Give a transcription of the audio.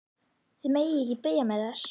Þið megið ekki biðja mig þess!